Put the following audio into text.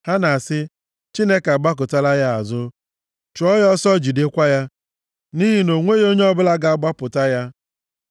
Ha na-asị, “Chineke agbakụtala ya azụ; chụọ ya ọsọ, jidekwa ya, nʼihi na o nweghị onye ọbụla ga-agbapụta ya.”